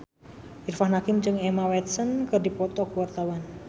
Irfan Hakim jeung Emma Watson keur dipoto ku wartawan